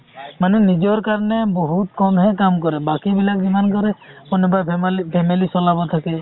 মানে নিজৰ কাৰণে বহুত কম হে কাম কৰে বাকি বিলাক যিমান কাম কৰে কোনোবাই ফেমালি family চলাব থাকে